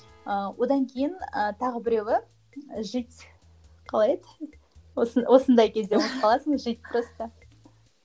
ыыы одан кейін ыыы тағы біреуі жить қалай еді осы осындай кезде ұмытып қаласың жить просто